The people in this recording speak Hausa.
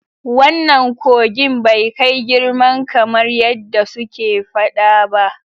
Wannan kogin bai kai girman kamar yadda suke fada ba.